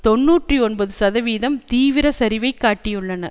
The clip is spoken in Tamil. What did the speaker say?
தொன்னூற்றி ஒன்பது சதவிகிதம் தீவிர சரிவைக் காட்டியுள்ளன